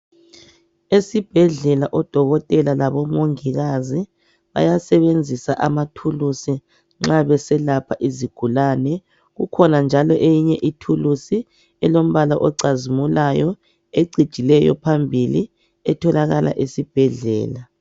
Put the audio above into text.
esibhedlela odokotela labomongikazi bayasebenzisa amathulusi nxabeselapha izigulane ikhona njalo eyinye ithulusi elompala ocazimulayo ecijileyo phambili etholakala esibhedlela